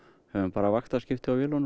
höfum bara vaktaskipti á vélunum